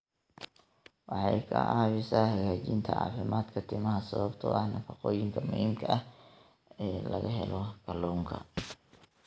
Waxay ka caawisaa hagaajinta caafimaadka timaha sababtoo ah nafaqooyinka muhiimka ah ee laga helo kalluunka.